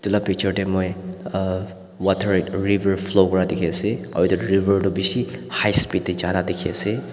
etu la picture te moi uh water river flow ra dikhi ase aru etu river tu bishi high speed te jai la dikhi ase.